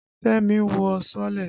Fẹ́mi wọ sọ́ọ́lẹ̀.